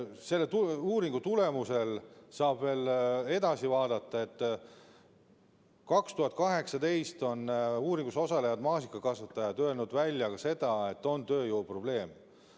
Sellest uuringust saab veel edasi vaadata, et 2018. aastal on uuringus osalejad maasikakasvatajad öelnud välja ka seda, et on tööjõu probleem.